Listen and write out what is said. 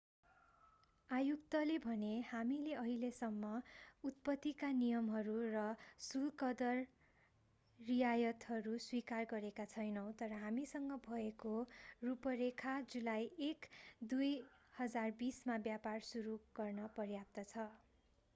आयुक्तले भने हामीले अहिलेसम्म उत्पत्तिका नियमहरू र शुल्कदर रियायतहरू स्वीकार गरेका छैनौँ तर हामीसँग भएको रूपरेखा जुलाई 1 2020 मा व्यापार सुरु गर्न पर्याप्त छ